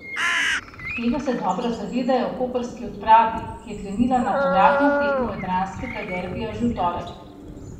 Tega se dobro zavedajo v koprski odpravi, ki je krenila na povratno tekmo jadranskega derbija že v torek.